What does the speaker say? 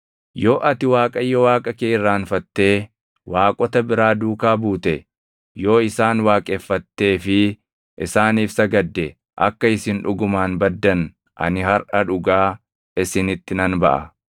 Yoo ati Waaqayyo Waaqa kee irraanfattee waaqota biraa duukaa buute, yoo isaan waaqeffattee fi isaaniif sagadde akka isin dhugumaan baddan ani harʼa dhugaa isinitti nan baʼa.